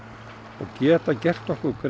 og geta gert okkur grein